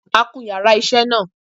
A kun yàrá isé náà